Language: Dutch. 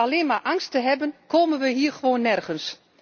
Door alleen maar angst te hebben komen we hier gewoon nergens.